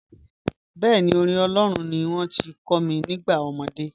Bẹẹ̀ni, orin Olóòrun ní wọn ti kò mi nígbà omọdé.